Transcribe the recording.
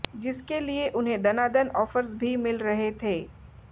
जिसके लिए उन्हें दनादन ऑफर्स भी मिल रहे थे